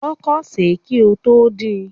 Kọkọ ṣẹ kí o tó din!